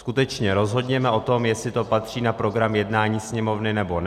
Skutečně, rozhodněme o tom, jestli to patří na program jednání Sněmovny, nebo ne.